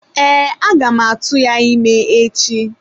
Ee, aga m a tuya ime echi.